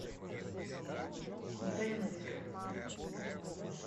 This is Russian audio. денвер